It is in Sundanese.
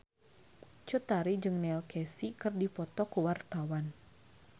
Cut Tari jeung Neil Casey keur dipoto ku wartawan